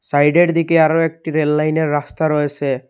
সাইডের দিকে আরও একটি রেল লাইনের রাস্তা রয়েসে।